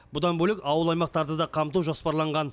бұдан бөлек ауыл аймақтарды да қамту жоспарланған